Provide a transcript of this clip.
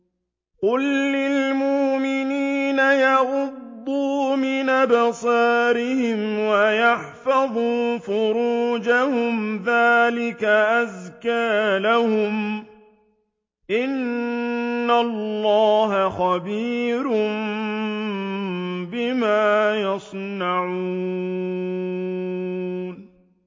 قُل لِّلْمُؤْمِنِينَ يَغُضُّوا مِنْ أَبْصَارِهِمْ وَيَحْفَظُوا فُرُوجَهُمْ ۚ ذَٰلِكَ أَزْكَىٰ لَهُمْ ۗ إِنَّ اللَّهَ خَبِيرٌ بِمَا يَصْنَعُونَ